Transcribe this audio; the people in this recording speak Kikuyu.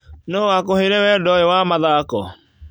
Nũũ wakũheire wendo ũyũ wa mathako?